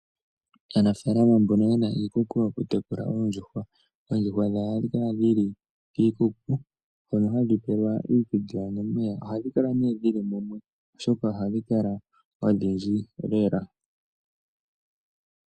Aanafaalama mbono ye na iikuku yo ku yekula oondjuhwa, oondjuhwa dhawo oha dhi kala dhili kiikuku hono ha dhi pelwa iikulya nomeya. Oha dhi kala dhili mumwe, oshoka oha dhi kala odhindji lela.